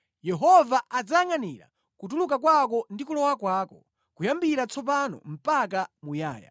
Yehova adzayangʼanira kutuluka kwako ndi kulowa kwako; kuyambira tsopano mpaka muyaya.